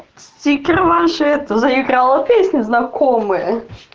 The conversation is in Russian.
стикеры ваши это заиграла песня ваша знакомая